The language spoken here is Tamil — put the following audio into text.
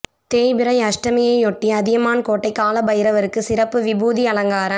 தேய்பிறை அஷ்டமியையொட்டி அதியமான் கோட்டை கால பைரவருக்கு சிறப்பு விபூதி அலங்காரம்